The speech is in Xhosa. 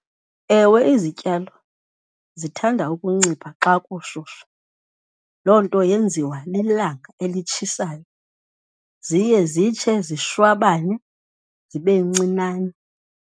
Ewe, izityalo zithanda ukuncipha xa kushushu. Loo nto yenziwa lilanga elitshisayo, ziye zitshe zishwabane zibe ncinane.